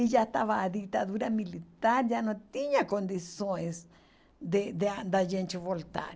E já estava a ditadura militar, já não tinha condições de de da gente voltar.